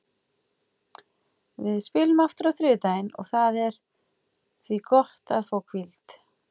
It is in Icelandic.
Við spilum aftur á þriðjudaginn og það er því gott að fá hvíld.